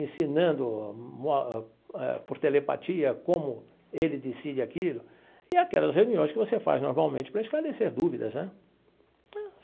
ensinando por telepatia como ele decide aquilo, e aquelas reuniões que você faz normalmente para esclarecer dúvidas né.